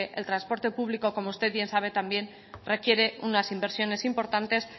el transporte público como usted bien sabe requiere unas inversiones importantes